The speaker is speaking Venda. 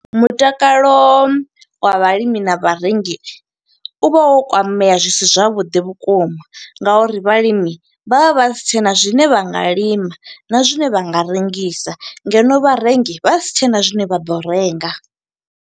Mutakalo wa vhalimi na vharengi u vha wo kwamea zwisi zwavhuḓi vhukuma nga uri vhalimi vha vha vha si tshena zwine vha nga lima, na zwine vha nga rengisa. Ngeno vharengi vha si tshena zwine vha ḓo renga.